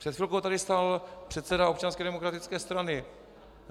Před chvilkou tady stál předseda Občanské demokratické strany.